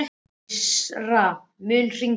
Lísandra, mun rigna í dag?